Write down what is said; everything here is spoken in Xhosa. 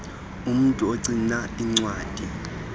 umntu ogcina iincwadi